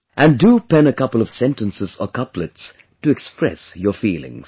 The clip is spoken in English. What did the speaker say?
And do pen a couple of sentences or couplets to express your feelings